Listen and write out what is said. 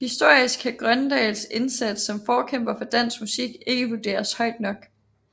Historisk kan Grøndahls indsats som forkæmper for dansk musik ikke vurderes højt nok